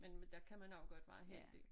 Men men der kan man også godt være heldig